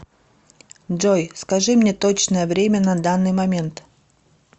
джой скажи мне точное время на данный момент